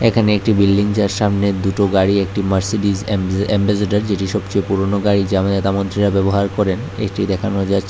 এখানে একটি বিল্ডিং যার সামনে দুটো গাড়ি একটি মার্সিডিস এম যে এ্যাম্বাসেডর যেটি সবচেয়ে পুরনো গাড়ি যা আমাদে নেতা মন্ত্রীরা ব্যবহার করেন এটি দেখানো যাচ্ছে।